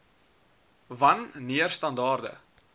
wan neer standaarde